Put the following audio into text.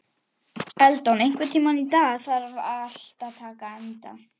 Eldon, einhvern tímann þarf allt að taka enda.